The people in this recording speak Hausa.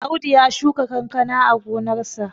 Audu ya shuka kankana a gonarsa